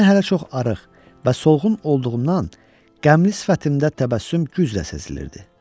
Mən hələ çox arıq və solğun olduğumdan qəmli sifətimdə təbəssüm güclə sezilirdi.